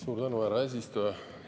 Suur tänu, härra eesistuja!